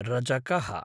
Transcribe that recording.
रजकः